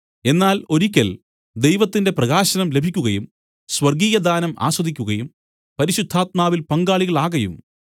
എന്നാൽ ഒരിക്കൽ ദൈവത്തിന്റെ പ്രകാശനം ലഭിക്കുകയും സ്വർഗ്ഗീയദാനം ആസ്വദിക്കുകയും പരിശുദ്ധാത്മാവിൽ പങ്കാളികളാകയും